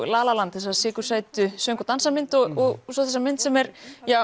la la land þessar söng og dansamynd og svo þessa mynd sem er